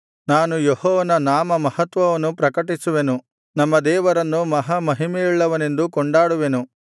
ನಾನು ಯೆಹೋವನ ನಾಮಮಹತ್ವವನ್ನು ಪ್ರಕಟಿಸುವೆನು ನಮ್ಮ ದೇವರನ್ನು ಮಹಾಮಹಿಮೆಯುಳ್ಳವನೆಂದು ಕೊಂಡಾಡುವೆನು